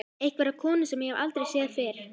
Einhverja konu sem ég hef aldrei séð fyrr.